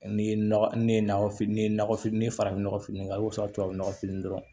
Ni ye nɔgɔ ne ye nakɔfili ne ye nɔgɔ fitini ni farafin nɔgɔ fitini kɛ i b'o sɔrɔ tubabu nɔgɔfin dɔrɔn